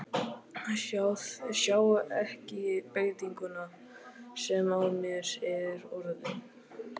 Sjá ekki breytinguna sem á mér er orðin.